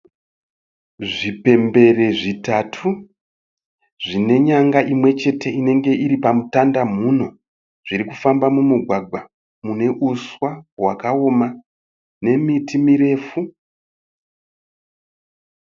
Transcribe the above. Zvipembere zvitatu zvine nyanga imwe chete inenge iri pamutandamhuno zviri kufamba mumugwagwa mune uswa hwakaoma nemiti mirefu.